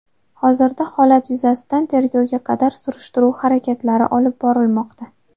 Hozirda holat yuzasidan tergovga qadar surishtiruv harakatlari olib borilmoqda.